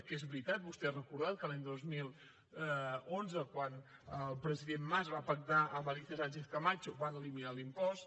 que és veritat vostè ha recordat que l’any dos mil onze quan el president mas va pactar amb alicia sánchez camacho van eliminar l’impost